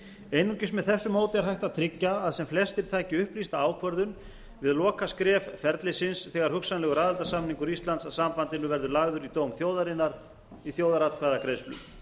einungis með þessu móti er hægt að tryggja að sem flestir taki upplýsta ákvörðun við lokaskref ferlisins þegar hugsanlegur aðildarsamningur íslands að sambandinu verður lagður í dóm þjóðarinnar í þjóðaratkvæðagreiðslu